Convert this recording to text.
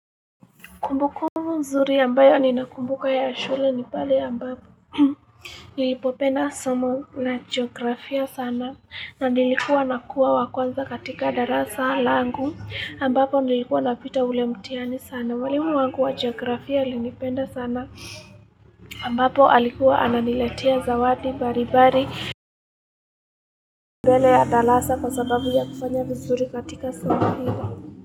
Kumbukumbu mzuri ambayo ninakumbuka ya shule ni pale ya ambapo. Nilipopenda somo na jiografia sana na nilikuwa nakuwa wa kwanza katika darasa langu ambapo nilikuwa napita ule mtihani sana. Walimu wangu wa jiografia alinipenda sana ambapo alikuwa ananiletea zawati mbalimbali mbele ya darasa kwa sababu ya kufanya vizuri katika somo hilo.